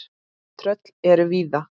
Tröll eru víða.